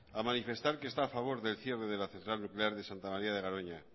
a manifestar que está a favor del cierre de la central nuclear de santa maría de garoña